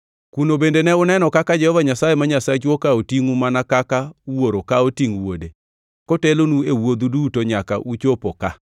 Kuno bende ne uneno kaka Jehova Nyasaye ma Nyasachu okawo tingʼu mana kaka wuoro kawo tingʼ wuode, kotelonu e wuodhu duto nyaka uchopo ka.”